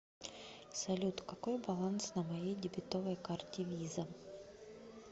салют какой баланс на моей дебетовой карте виза